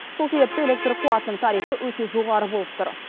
сол себепті электр қуатының тарифі өте жоғары болып тұр